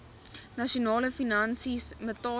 internasionale finansies metale